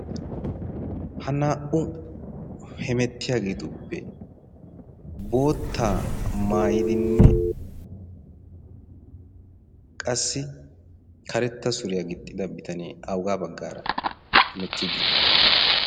ha naa'u hemettiyaa geetuppe bootta maayidinne qassi karetta suriyaa gixxida bitanee augaa baggaara hemettii diiri?